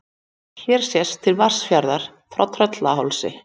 Hér sést til Vatnsfjarðar af Tröllahálsi.